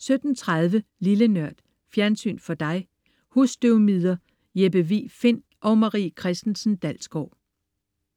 17.30 Lille Nørd. Fjernsyn for dig. Husstøvmider. Jeppe Vig Find og Marie Christensen-Dalsgaard